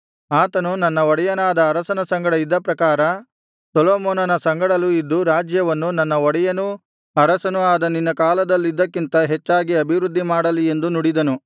ಆತನು ನನ್ನ ಒಡೆಯನಾದ ಅರಸನ ಸಂಗಡ ಇದ್ದ ಪ್ರಕಾರ ಸೊಲೊಮೋನನ ಸಂಗಡಲೂ ಇದ್ದು ರಾಜ್ಯವನ್ನು ನನ್ನ ಒಡೆಯನೂ ಅರಸನೂ ಆದ ನಿನ್ನ ಕಾಲದಲ್ಲಿದ್ದದಕ್ಕಿಂತ ಅಭಿವೃದ್ಧಿಮಾಡಲಿ ಎಂದು ನುಡಿದನು